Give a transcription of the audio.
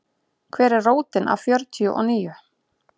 Hver er rótin af fjörtíu og níu?